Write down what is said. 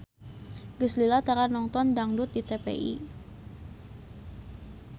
Geus lila tara nongton dangdut di TPI